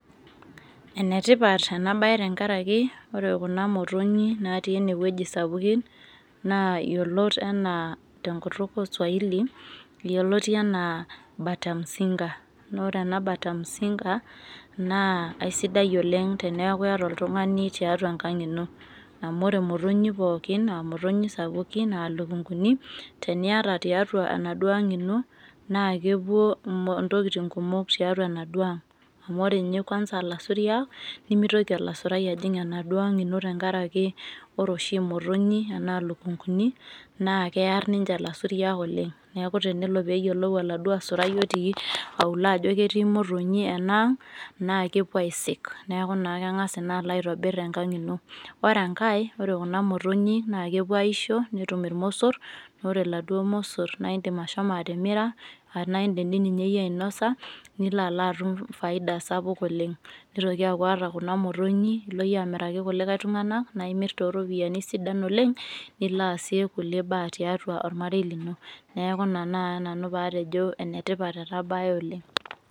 enetipat ena bae tenkaraki, re kuna motonyi natii ene wueji sapukin, yiolot anaa, tenkutuk oosuaili, yioloti anaa bata mzinga naa ore ena bata mzinga naa aisidai oleng teneeku iyata oltungani tiatua enkang ino. amu ore imotonyi pookin aa motonyi sapukin, aa lukunkuni, teniata tiatua endauo ang ino, naa kepuo intokitin kumok tiatua enaduoo ang'.amu ore ninye kuansa ilasuiak nemeitoki olasurai ajing' enaduoo ang ino tenkaraki ore oshi imotonyi, enaa lukunkuni naa kiar ninche ilasuriak oleng'.neeku tenelo pee e yiolou oladuo asurai otii auluo ajo ketii motonyi enaang' naa kepuo aisik, neeku naa keng'as ina alo aitobir ino. ore enkae, ore kuna motonyi naa kepuo aaisho, netum ilmosor, ore iladuoo mosor, naa idim ashomo atimira, naa idim ninye iyie ashomo ainosa. nilo alo atum faida sapuk oleng. nitoki aaku ore kuna motonyi ilo iyie amiraki kulikae tungana, naa imir tooropiyiani sidan oleng. nilo aasie kulie baa tiatua ormarei lino. neeku naa ina tenakata nanu pee atejo ene tipat ena bae oleng.